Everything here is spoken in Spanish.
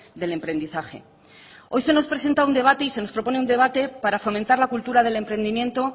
del emprendizaje hoy se nos presenta un debate y se nos propone un debate para fomentar la cultura del emprendimiento